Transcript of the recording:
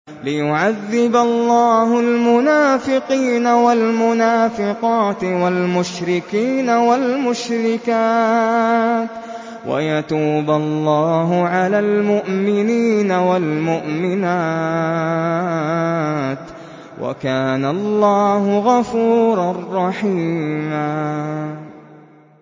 لِّيُعَذِّبَ اللَّهُ الْمُنَافِقِينَ وَالْمُنَافِقَاتِ وَالْمُشْرِكِينَ وَالْمُشْرِكَاتِ وَيَتُوبَ اللَّهُ عَلَى الْمُؤْمِنِينَ وَالْمُؤْمِنَاتِ ۗ وَكَانَ اللَّهُ غَفُورًا رَّحِيمًا